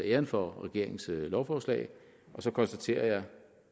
æren for regeringens lovforslag og så konstaterer jeg